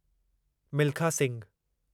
Milkha Singhu